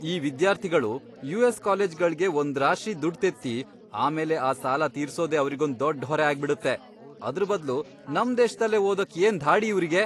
ಈ ವಿದ್ಯಾರ್ಥಿಗಳು ಯು.ಎಸ್. ಕಾಲೇಜ್ಗಳ್ಗೆ ಒಂದ್ರಾಶಿ ದುಡ್ಡ್ ತೆತ್ತಿ ಆಮೇಲೆ ಆ ಸಾಲ ತೀರ್ಸೋದೇ ಅವ್ರಿಗೊಂದ್ ದೊಡ್ಡ್ ಹೊರೆ ಆಗ್ಬಿಡತ್ತೆ. ಅದ್ರ್ ಬದ್ಲು ನಮ್ ದೇಶ್ದಲ್ಲೇ ಓದೋಕ್ ಏನ್ ಧಾಡಿ ಇವ್ರಿಗೆ?!